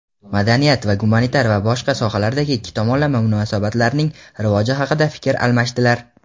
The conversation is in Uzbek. madaniy-gumanitar va boshqa sohalardagi ikki tomonlama munosabatlarning rivoji haqida fikr almashdilar.